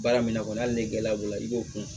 Baara min kɔnɔ hali ni gɛlɛya b'o la i b'o kun